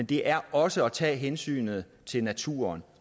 det er også at tage hensynet til naturen